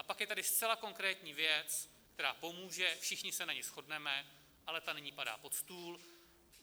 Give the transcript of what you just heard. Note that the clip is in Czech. A pak je tady zcela konkrétní věc, která pomůže, všichni se na ní shodneme, ale ta nyní padá pod stůl.